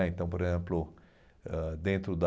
né então, por exemplo, ãh dentro da...